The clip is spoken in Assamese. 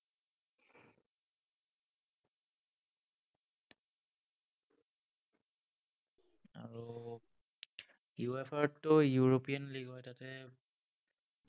UEFA ৰতো european league হয়। তাতে